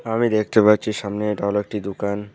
আমি দেখতে পাচ্ছি সামনে এটা হলো একটি দুকান।